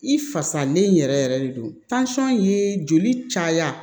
I fasalen yɛrɛ yɛrɛ de don joli caya